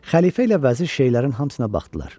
Xəlifə ilə vəzir şeylərin hamısına baxdılar.